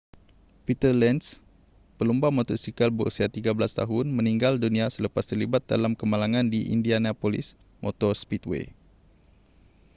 peter lenz pelumba motosikal berusia 13 tahun meninggal dunia selepas terlibat dalam kemalangan di indianapolis motor speedway